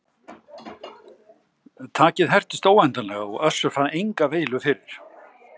Takið hertist óendanlega og Össur fann enga veilu fyrir.